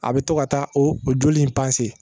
A bɛ to ka taa o joli in